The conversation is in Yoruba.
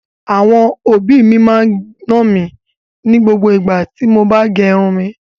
Àwọn òbí máa ń nà mí ní gbogbo igbá tí mo bá gẹrun mi.